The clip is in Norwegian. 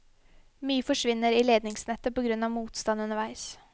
Mye forsvinner i ledningsnettet på grunn av motstand underveis.